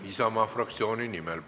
– õpetaja palgaks saab 1250 eurot.